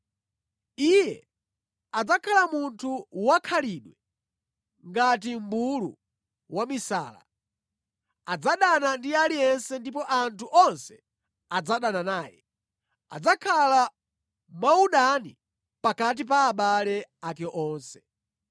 Iye adzakhala munthu wa khalidwe ngati mʼmbulu wamisala; adzadana ndi aliyense ndipo anthu onse adzadana naye, adzakhala mwaudani pakati pa abale ake onse.”